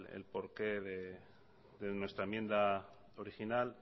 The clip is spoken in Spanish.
el por qué de nuestra enmienda original